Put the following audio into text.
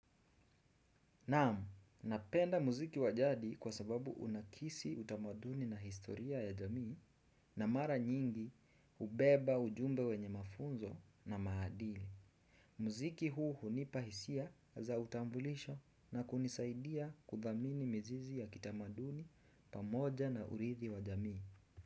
Naam, napenda mziki wajadi kwa sababu unakisi utamaduni na historia ya jamii na mara nyingi hubeba ujumbe wenye mafunzo na maadili. Mziki huu hunipahisia za utambulisho na kunisaidia kudhamini mizizi ya kitamaduni pamoja na urithi wa jamii.